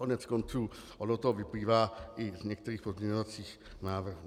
Koneckonců ono to vyplývá i z některých pozměňovacích návrhů.